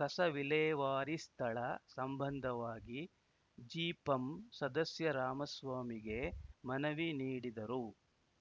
ಕಸ ವಿಲೇವಾರಿ ಸ್ಥಳ ಸಂಬಂಧವಾಗಿ ಜಿಪಂ ಸದಸ್ಯ ರಾಮಸ್ವಾಮಿಗೆ ಮನವಿ ನೀಡಿದರು